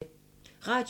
Radio 4